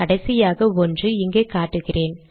கடைசியாக ஒன்று இங்கே காட்டுகிறேன்